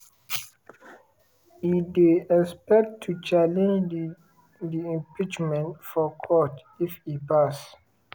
e dey expected to challenge di di impeachment for court if e pass.